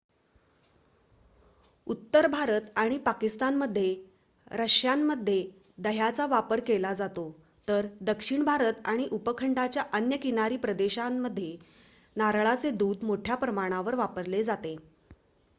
उत्तर भारत आणि पाकिस्तानमध्ये रश्श्यांमध्ये दह्याचा वापर केला जातो तर दक्षिण भारत आणि उपखंडाच्या अन्य किनारी प्रदेशांमध्ये नारळाचे दूध मोठ्या प्रमाणावर वापरले जाते